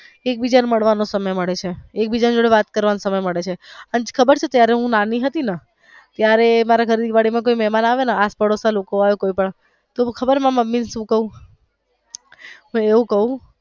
એકબીજા ને મળવાનો સમય મળે છે એકબીજા જોડે વાત કરવાનો સમય મળે છે અને ખબર છે હું નાની હતી ને ત્યારે મારી ઘર ની બાજુ માં કોઈ મેહમાન આવે ને આડોસ પાડોસ ના લોકો આવે કોઈ પણ તો ખબર હું મારા મુમ્મી ને સુ કાવ હું એવું ક્વ.